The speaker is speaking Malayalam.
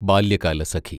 ബാല്യകാലസഖി